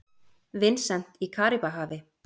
Vincent í Karíbahafi.